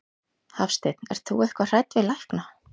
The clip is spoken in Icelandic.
Hafsteinn: Ert þú eitthvað hrædd við lækna?